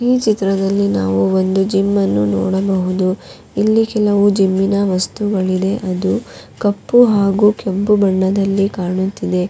ಈ ಚಿತ್ರದಲ್ಲಿ ನಾವು ಒಂದು ಜಿಮ್ಮನ್ನು ನೋಡಬಹುದು ಇಲ್ಲಿ ಕೆಲವು ಜಿಮ್ಮಿನ ವಸ್ತುಗಳಿದೆ ಅದು ಕಪ್ಪು ಹಾಗೂ ಕೆಂಪು ಬಣ್ಣದಲ್ಲಿ ಕಾಣುತ್ತಿದೆ.